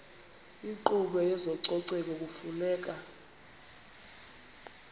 inkqubo yezococeko kufuneka